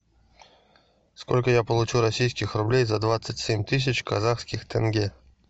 сколько я получу российских рублей за двадцать семь тысяч казахских тенге